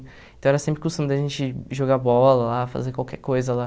Então era sempre o costume da gente jogar bola lá, fazer qualquer coisa lá.